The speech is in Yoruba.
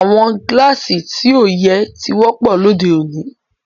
Awọn Gíláásì ti o yẹ̀ ti wọ̀pọ̀ lọdẹ́ ọ̀ní.